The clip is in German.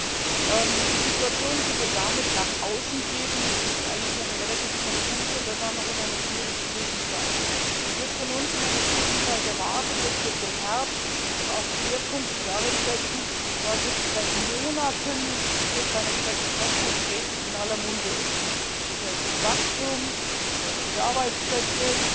Das Bild, das wir damit nach außen geben, ist eigentlich relativ konfus, und das auch noch in einer schwierigen Krisenzeit. Es wird von uns in einer Krisenzeit erwartet, dass wir beherzt auch Schwerpunkte darin setzen, was seit Monaten ich hätte beinahe gesagt in Sonntagsreden in aller Munde ist, und das nennt sich Wachstum, das nennt sich Arbeitsplätze,